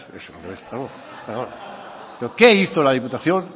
pero qué hizo la diputación